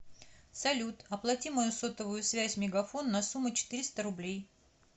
салют оплати мою сотовую связь мегафон на сумму четыреста рублей